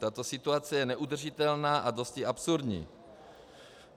Tato situace je neudržitelná a dosti absurdní.